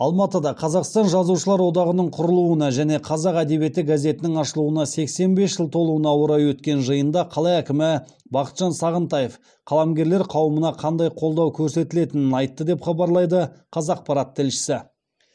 алматыда қазақстан жазушылар одағының құрылуына және қазақ әдебиеті газетінің ашылуына сексен бес жыл толуына орай өткен жиында қала әкімі бақытжан сағынтаев қаламгерлер қауымына қандай қолдау көрсетілетінін айтты деп хабарлайды қазақпарат тілшісі